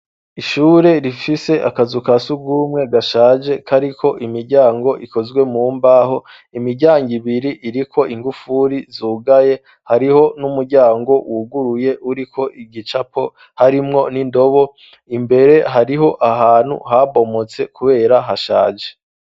Ishure rifise akazu kasugumwe gashaje kariko imijyango ikozwe mu mbaho imijyango ibiri iri ko ingufuri zugaye hariho n'umuryango wuguruye uri ko igicapo harimwo n'indobo imbere hariho ahantu habomotse kubera hashaje.